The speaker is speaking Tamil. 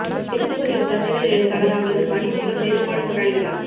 விருது பெற்ற குழந்தைகள் எழுத்தாளர் அவரது பணி மூலம் வேறுபாடு கொண்டாடுகிறார்